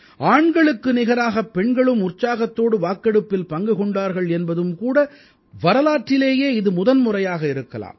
ஆண்களுக்கு நிகராகப் பெண்களும் உற்சாகத்தோடு வாக்கெடுப்பில் பங்கு கொண்டார்கள் என்பதும் கூட வரலாற்றிலேயே இது முதன்முறையாக இருக்கலாம்